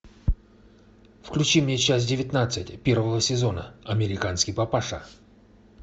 включи мне часть девятнадцать первого сезона американский папаша